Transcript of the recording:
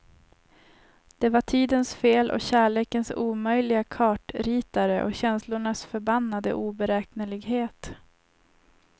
Det var tidens fel och kärlekens omöjliga kartritare och känslornas förbannade oberäknelighet.